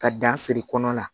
Ka dan siri kɔnɔ la